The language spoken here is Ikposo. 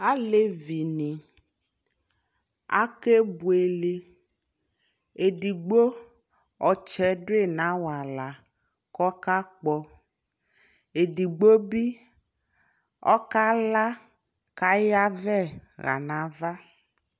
Alɛvi ni akɛ bueleƐdigbo ɔtsɛ du yi na wala kɔ ka kpɔƐdigbo bi ɔka laKa ya vɛ ɣa na va